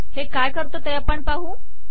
हे काय करते ते आपण पाहू